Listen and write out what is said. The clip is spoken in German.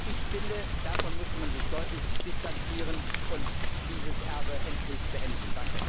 Ich finde, davon muss man sich deutlich distanzieren und dieses Erbe endlich beenden.